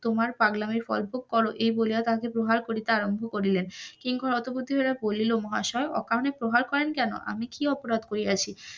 তোমার পাগলামির গল্প কর এই বলিয়া তাকে প্রহার করিতে আরাম্ভ করিলেন, কিঙ্কর হত বুদ্ধি হইয়া পড়িল মহাশয় অকারণে প্রহার করেন কেন আমি কি অপরাধ করিয়াছি,